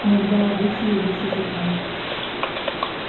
иногда обычаи выше законов